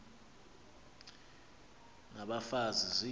n abafazi ziphi